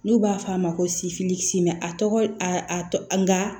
N'u b'a f'a ma ko a tɔgɔ nga